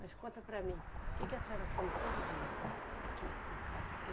Mas conta para mim, o que que a senhora come todo dia aqui na casa?